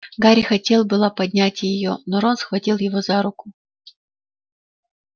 гарри хотел было поднять её но рон схватил его за руку